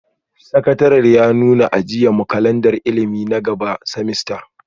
Sakataren ya nuna a jiya, mu kalandar ilimi na gaba semester,